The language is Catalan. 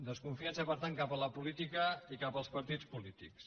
desconfiança per tant cap a la política i cap als partits polítics